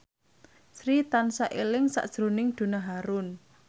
Sri tansah eling sakjroning Donna Harun